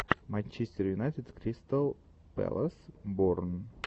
манчестер юнайтед кристал пэлас борн